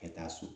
Ka taa so